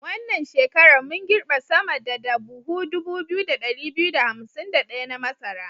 Wannan shekarar mun girbe sama da da buhu 2251 na masara.